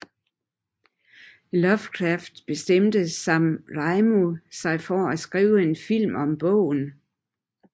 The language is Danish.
Lovecraft bestemte Sam Raimi sig for at skrive en film om bogen